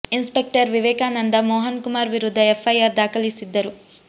inspector Vivekananda Mohan Kumar ವಿರುದ್ಧ F I R ದಾಖಲಿಸಿದ್ದರು